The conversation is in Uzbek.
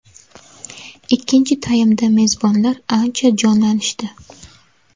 Ikkinchi taymda mezbonlar ancha jonlanishdi.